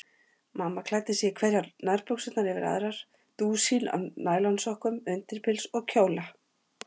Mamma klæddi sig í hverjar nærbuxurnar yfir aðrar, dúsín af nælonsokkum, undirpils og kjóla.